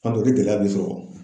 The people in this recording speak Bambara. N'ɔ tɛ o de gɛlɛya be sɔrɔ